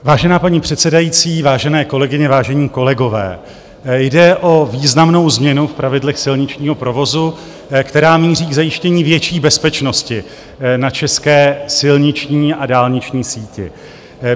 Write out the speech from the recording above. Vážená paní předsedající, vážené kolegyně, vážení kolegové, jde o významnou změnu v pravidlech silničního provozu, která míří k zajištění větší bezpečnosti na české silniční a dálniční síti.